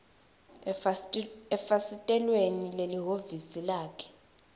efasitelweni lelihhovisi lakhe